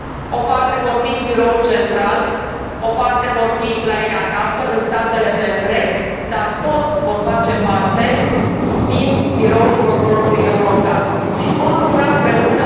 O parte vor fi în biroul central, o parte vor fi la ei acasă, în statele membre, dar toți vor face parte din Biroul Procurorului European și vor lucra împreună.